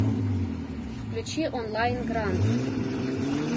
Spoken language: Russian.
включи онлайн гранд